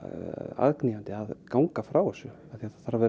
aðkallandi að ganga frá þessu því það þarf að